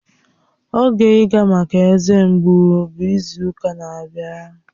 Oge ịga maka eze mgbu bụ izu ụka na-abịa